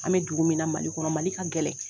An bɛ dugu min na Mali kɔnɔ Mali ka gɛlɛn.